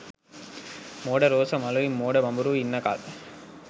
මෝඩ රෝස මලුයි මෝඩ බඹරුයි ඉන්න කල්